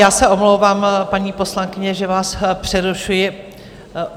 Já se omlouvám, paní poslankyně, že vás přerušuji.